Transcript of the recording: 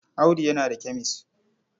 Audu yana da kemes.